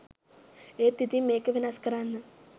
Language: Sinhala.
ඒත් ඉතිං මේක වෙනස් කරන්න